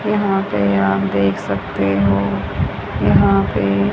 यहां पे आप देख सकते हो यहां पे--